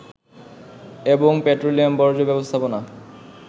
এবং পেট্রোলিয়াম বর্জ্য ব্যবস্থাপনা